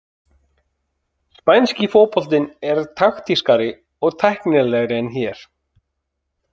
Spænski fótboltinn er taktískari og tæknilegri en hér.